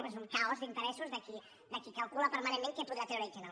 bé és un caos d’interessos de qui calcula permanentment què podrà treure i què no